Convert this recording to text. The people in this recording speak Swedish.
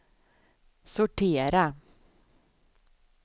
sortera